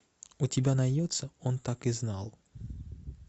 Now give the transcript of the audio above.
у тебя найдется он так и знал